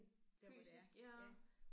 Fysisk ja